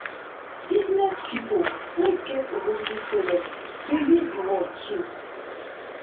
business pipo wey get ogbonge products de use di word too